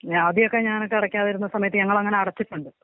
ആദ്യമൊക്കെ ഞാനൊക്കെ അടക്കാണ്ടിരിന്ന സമയത്ത് ഞങ്ങളങ്ങനെ അടച്ചിട്ടുണ്ട്.